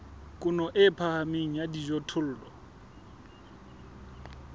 kuno e phahameng ya dijothollo